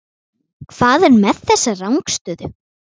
Hvað er með þessa rangstöðu?